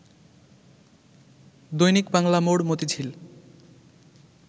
দৈনিক বাংলা মোড়, মতিঝিল